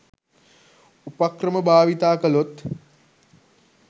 උපක්‍රම භාවිතා කළොත්